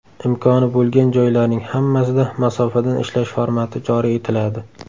Imkoni bo‘lgan joylarning hammasida masofadan ishlash formati joriy etiladi.